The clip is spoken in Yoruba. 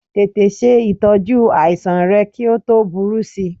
Tètè se itọju àìsàn rẹ kí o tó búrú sī